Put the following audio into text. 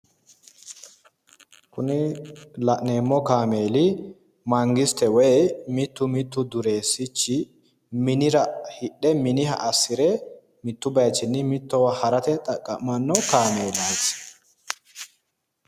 Kuni la'neemmo kaameli mangiste woyi mitu duresi hidhe mituwini mittowa harano hodhishu kaamelati